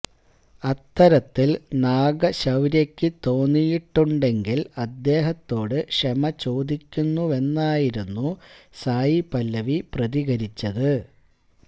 അത്തരത്തില് നാഗശൌര്യയ്ക്ക് തോന്നിയിട്ടുണ്ടെങ്കില് അദ്ദേഹത്തോട് ക്ഷമ ചോദിക്കുന്നുവെന്നായിരുന്നു സായി പല്ലവി പ്രതികരിച്ചത്